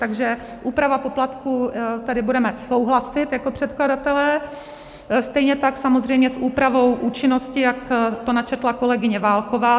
Takže úprava poplatků - tady budeme souhlasit jako předkladatelé, stejně tak samozřejmě s úpravou účinnosti, jak to načetla kolegyně Válková.